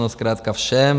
No zkrátka všem.